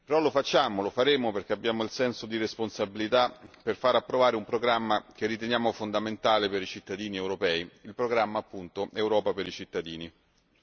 Ma lo facciamo e lo faremo perché abbiamo un senso di responsabilità per far approvare un programma che riteniamo fondamentale per i cittadini europei il programma Europa per i cittadini.